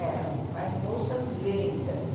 Ela faz bolsas lindas.